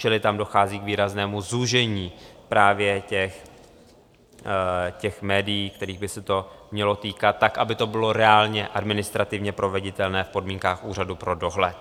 Čili tam dochází k výraznému zúžení právě těch médií, kterých by se to mělo týkat tak, aby to bylo reálně administrativně proveditelné v podmínkách úřadu pro dohled.